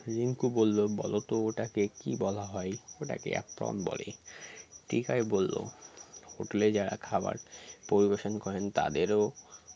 রিঙ্কু বলল বলোতো ওটাকে কি বলা হয় ওটাকে apron বলে টিপাই বলল hotel -এ যারা খাবার পরিবেশন করেন তাদেরও